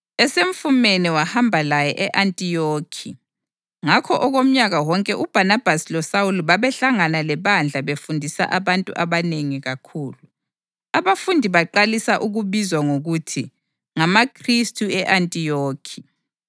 Esemfumene wahamba laye e-Antiyokhi. Ngakho okomnyaka wonke uBhanabhasi loSawuli babehlangana lebandla befundisa abantu abanengi kakhulu. Abafundi baqalisa ukubizwa ngokuthi ngamaKhristu e-Antiyokhi.